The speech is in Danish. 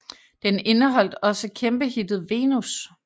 Den indeholdt også kæmpe hittet Venus